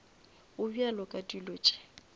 go bjalo ka dilo tše